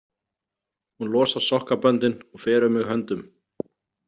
Hún losar sokkaböndin og fer um mig höndum.